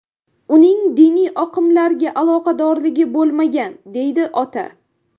Uning diniy oqimlarga aloqadorligi bo‘lmagan”, deydi ota.